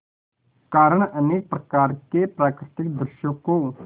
कारण अनेक प्रकार के प्राकृतिक दृश्यों को